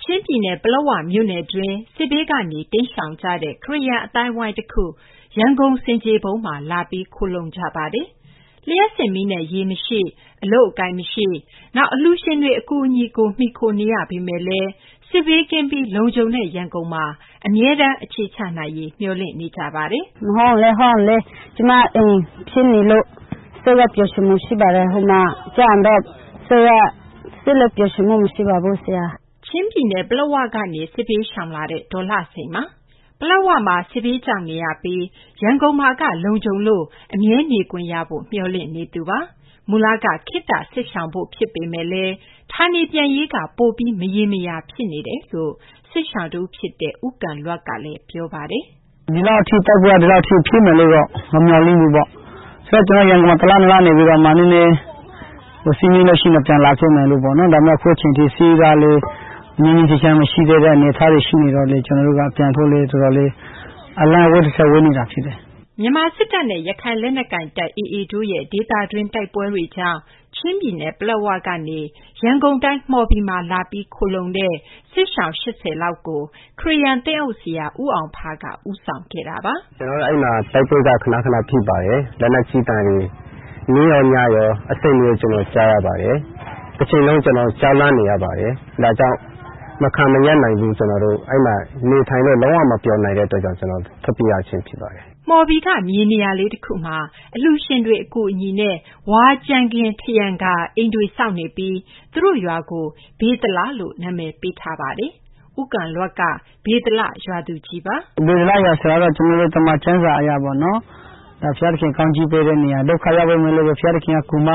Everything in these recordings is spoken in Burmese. ချင်းပြည်နယ် ပလက်ဝမြို့နယ်တွင်း စစ်ဘေးကနေ တိမ်းရှောင်ကြတဲ့ ခရစ်ယာန် အသိုင်းအဝိုင်းတခု ရန်ကုန် ဆင်ခြေဖုံးမှာ လာပြီး ခိုလှုံနေကြပါတယ်။ လျှပ်စစ်မီးနဲ့ ရေမရှိ၊ အလုပ်အကိုင်မရှိ၊ နောက် အလှူရှင်တွေ အကူအညီကို မှီခိုနေရပေမယ့်လည်း စစ်ဘေးကင်းပြီး လုံခြုံတဲ့ ရန်ကုန်မှာ အခြေချနိုင်ရေး မျှော်လင့်နေကြပါတယ်။ အပြည့်အစုံကို မသိင်္ဂီထိုက် တင်ပြပေးထားပါတယ်။ “ကျမအိမ်ဖြစ်နေလို့ စိတ်လက် ပျော်ရွှင်မှု ရှိပါတယ်။ ဟိုမှာရောက်တော့ စိတ်လက် ပျော်ရွှင်မှု မရှိပါဘူးဆရာ။ ဒီမှာရောက်တော့ တသက်လုံးနေရမယ် ထင်ပါတယ်။” ချင်းပြည်နယ် ပလက်ဝကနေ စစ်ဘေးရှောင်လာတဲ့ ဒေါ်လှစိန်ပါ။ ပလက်ဝမှာ စစ်ဘေးကြောက်နေရပြီး ရန်ကုန်မှာက လုံခြုံလို့ အမြဲနေခွင့်ရဖို့ မျှော်လင့်နေသူပါ။ မူလက ခေတ္တ စစ်ရှောင်ဖို့ဖြစ်ပေမယ့် ဌာနေပြန်ရေးက ပိုပြီး မရေမရာ ဖြစ်နေတာလို့ စစ်ရှောင်တဦးဖြစ်တဲ့ ဦးကန်လွပ်ကလည်း ပြောပါတယ်။ “ဒီလောက်ထိဖြစ်မယ်လို့တော့ မမျှော်လင့်ဘူးပေါ့။ ဆိုတော့ ကျနော် ရန်ကုန်မှာ တလ နှစ်လ နေပြီးတော့မှ နည်းနည်း စစ်မရှိရင် ပြန်လာခဲ့မယ်ပေါ့နော်။ ဒါပေမယ့်လည်း အခုအချိန်ထိ စစ်ကလည်း ငြိမ်းငြိမ်းချမ်းချမ်း မရှိသေးတဲ့ အနေအထားတွေ ရှိနေတော့လည်း ကျနော်တို့က ပြန်လာရေး အလှမ်းဝေးသထက် ဝေးနေတာဖြစ်တယ်။” မြန်မာစစ်တပ်နဲ့ ရခိုင်လက်နက်ကိုင်တပ် AA တို့ရဲ့ ဒေသတွင်း တိုက်ပွဲတွေကြောင့် ချင်းပြည်နယ် ပလက်ဝကနေ ရန်ကုန်တိုင်း မှော်ဘီမှာ လာပြီး ခိုလှုံတဲ့ စစ်ရှောင် ၈၀ လောက်ကို ခရစ်ယာန် သင်းအုပ်ဆရာ ဦးအောင်ဖားက ဦးဆောင်ခဲ့တာပါ။ “ကျနော်တို့ အဲဒီမှာ တိုက်ပွဲက ခနခန ဖြစ်ပါတယ်။ လက်နက်ကြီးသံတွေ နေ့ရော ညရော အဆက်မပြတ် ကြားရပါတယ်။ တချိန်လုံး ကျနော်တို့ ကြောက်လန့်နေရပါတယ်။ ဒါကြောင့် မခံမရပ်နိုင်လို့ အဲဒီမှာ နေထိုင်လို့ လုံးဝ မပျော်နိုင်လို့ ကျနော်တို့ ထွက်ပြေးရခြင်း ဖြစ်ပါတယ်။” မှော်ဘီက မြေနေရာလေးတခုမှာ အလှူရှင်တွေ အကူအညီနဲ့ ဝါးကြမ်းခင်း ထရံကာ အိမ်တွေဆောက်နေပြီး သူတို့ရွာကို ဗေသလလို့ နာမည်ပေးထားပါတယ်။ ဦးကန်လွပ်က ဗေသလ ရွာသူကြီးပါ။ “ဗေသလရွာဆိုတာကတော့ ကျနော်တို့ သမ္မာကျမ်းစာအရပေါ့နော် ဘုရားသခင် ကောင်းချီးပေးတဲ့နေရာ၊ ဒုက္ခရောက်နေသူတွေကို ဘုရားသခင်က ကူမ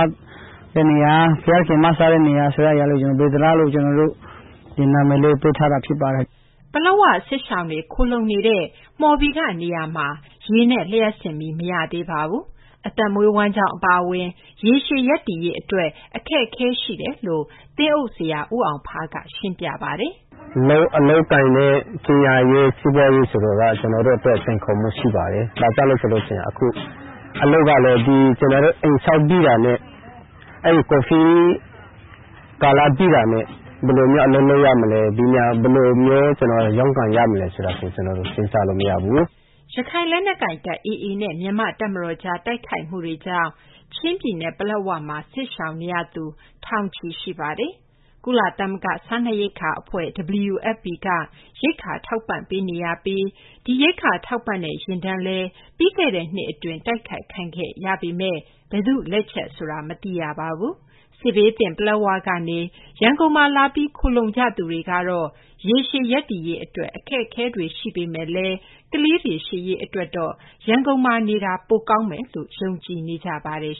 တဲ့နေရာ ဘုရားသခင် မစတဲ့နေရာ ဗေသလလို့ ဒီလို နာမည်လေးပေးထားတာ ဖြစ်ပါတယ်။ ဒီမှာတော့ ကျနော်တို့ ဆက်ပြီးတော့ပဲ နေဖို့ ကျနော်တို့က ဆုတောင်းထားပါတယ်။” ပလက်ဝ စစ်ရှောင်တွေ ခိုလှုံနေတဲ့ မှော်ဘီကနေရာမှာ ရေနဲ့ လျှပ်စစ်မီး မရသေးပါဘူး။ အသက်မွေးဝမ်းကျောင်း အပါအဝင် ရေရှည်ရပ်တည်ရေး အတွက်လည်း အခက်အခဲတွေ ရှိတယ်လို့ သင်းအုပ်ဆရာ ဦးအောင်ဖားက ရှင်းပြပါတယ်။ “အလုပ်အကိုင်နဲ့ ပညာရေး၊ စီးပွားရေး ဆိုတာက ကျနော်တို့အတွက် စိန်ခေါ်မှု ရှိပါတယ်။ အလုပ်ကလည်း ကျနော်တို့ အိမ်ဆောက်ပြီးတာနဲ့ ကိုဗစ်ကာလ ပြီးတာနဲ့ ဘယ်လိုမျိုး အလုပ်လုပ်ရမလဲ၊ ဘယ်လိုမျိုး ကျနော်တို့ ရုန်းကန်ရမလဲ ဆိုတာ ကျနော်တို့ စဉ်းစားလို့မရဘူး။” ရခိုင်လက်နက်ကိုင်တပ် AA နဲ့ မြန်မာ့တပ်မတော်ကြား တိုက်ခိုက်မှုတွေကြောင့် ချင်းပြည်နယ် ပလက်ဝမှာ စစ်ရှောင်နေရသူ ထောင်ချီရှိပါတယ်။ ကုလသမဂ္ဂ စားနပ်ရိက္ခာအဖွဲ့ (WFP) က ရိက္ခာထောက်ပံ့ပေးနေပြီး ဒီ ရိက္ခာထောက်ပံ့တဲ့ ယာဉ်တန်းလည်း ပြီးခဲ့တဲ့နှစ်အတွင်း တိုက်ခိုက်ခံရပေမယ့် ဘယ်သူ့လက်ချက်ဆိုတာ မသိရပါဘူး။ စစ်ဘေးသင့် ပလက်ဝကနေ ရန်ကုန်မှာလာပြီး ခိုလှုံကြသူတွေကတော့ ရေရှည် ရပ်တည်ရေးအတွက် အခက်အခဲတွေ ရင်ဆိုင်ရမှာ ဖြစ်ပေမယ့်လည်း ကလေးတွေ ရှေ့ရေးအတွက် ရန်ကုန်မှာနေတာ ပိုကောင်းမယ်လို့ ယုံကြည်နေကြပါတယ်